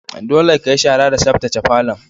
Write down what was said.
Dolle ka yi shara da sabtace falon!